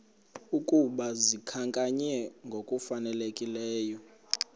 ukuba zikhankanywe ngokufanelekileyo